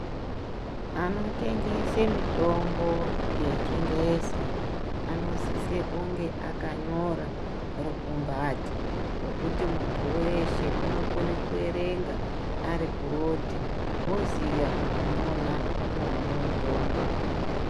Anotengese mitombo yechingezi anosise kunge akanyora rukumbati rwokuti muntu weshe unokone kuerenga ari kurodhi oziya kuti mwona ndimwo mune mutombo .